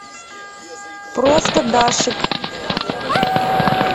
просто дашик